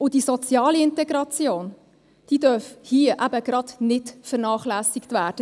Und die soziale Integration darf hierbei eben gerade nicht vernachlässigt werden.